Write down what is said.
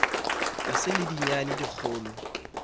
e sa le dinyane dikgolo